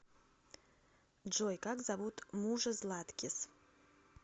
джой как зовут мужа златкис